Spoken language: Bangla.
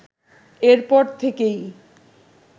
এরপর থেকেই